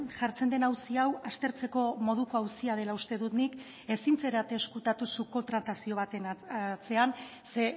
jartzen den auzi hau aztertzeko moduko auzia dela uste dut nik ezin zarete ezkutatu subkontratazio baten atzean ze